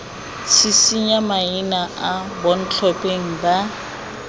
tshisinya maina a bontlhopheng ba